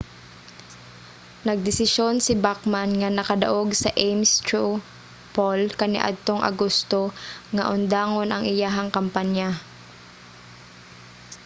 nagdesisyon si bachmann nga nakadaog sa ames straw pall kaniadtong agosto nga undangon ang iyahang kampanya